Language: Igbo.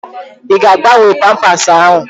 Ị ga-agbanwe pampasi ahụ?